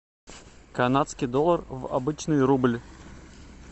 канадский доллар в обычный рубль